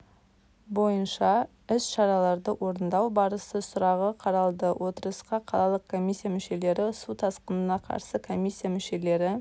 бойынша іс-шараларды орындау барысы сұрағы қаралды отырысқа қалалық комиссия мүшелері су тасқынына қарсы косиссия мүшелері